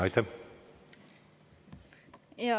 Aitäh!